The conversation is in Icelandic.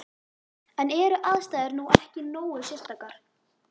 En eru aðstæður nú ekki nógu sérstakar?